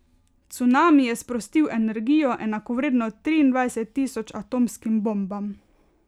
Cunami je sprostil energijo, enakovredno triindvajset tisoč atomskim bombam.